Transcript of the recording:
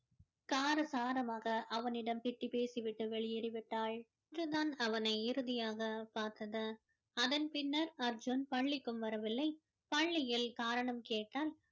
காரசாரமாக அவனிடம் திட்டி பேசி விட்டு வெளியேறி விட்டாள் அன்று தான் அவனை இறுதியாக பார்த்தது அதன் பின்னர் அர்ஜுன் பள்ளிக்கும் வரவில்லை பள்ளியில் காரணம் கேட்டால்